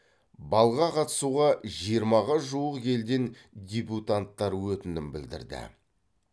балға қатысуға жиырмаға жуық елден дебютанттар өтінім білдірді